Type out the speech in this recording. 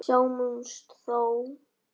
Sjáumst þá.